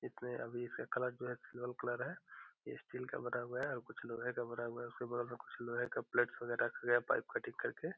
इसमें अभी इसका कलर जो है सिल्वर कलर है ये स्टील का बना हुआ है और कुछ लोहे का बना हुआ है उसके बगल में कुछ लोहे का प्लेट्स वगेरा रखे है पाइप कटिंग करके।